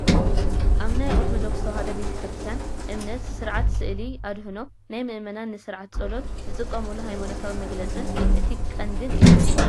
ኣብ ናይ ኦርቶዶክስ ተዋህዶ ቤተ ክርስትያን እምነት ስርዓት ስእሊ ኣድህኖ ናይ ምእመናን ንስርዓተ ፀሎት ዝጥቀምሉ ሃይማኖታዊ መግለፂን እቲ ቀንዲን እዩ፡፡